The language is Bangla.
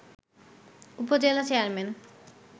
উপজেলা চেয়ারম্যান